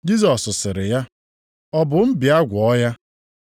Jisọs sịrị ya, “Ọ bụ m bịa gwọọ ya?”